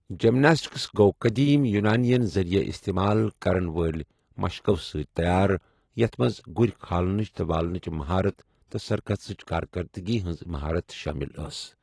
Gymnastics گوٚو قٔدیٖم یونانیَن ذٔریعہٕ استعمال کَرَن وٲلۍ مشقَو سۭتۍ تیار یَتھ منٛز گُرۍ کھالنٕچ تہٕ والنٕچ مہارت تہٕ سرکسٕچ کارکردٕگی ہٕنٛز مہارت شٲمِل ٲس۔